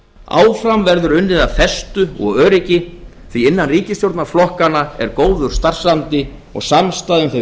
áfram verður unnið af festu og öryggi því að innan ríkisstjórnarflokkanna er góður starfsandi og samstaða um þau